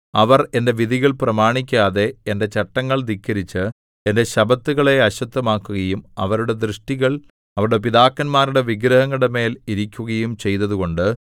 അവർ എന്റെ വിധികൾ പ്രമാണിക്കാതെ എന്റെ ചട്ടങ്ങൾ ധിക്കരിച്ച് എന്റെ ശബ്ബത്തുകളെ അശുദ്ധമാക്കുകയും അവരുടെ ദൃഷ്ടികൾ അവരുടെ പിതാക്കന്മാരുടെ വിഗ്രഹങ്ങളുടെമേൽ ഇരിക്കുകയും ചെയ്തതുകൊണ്ട്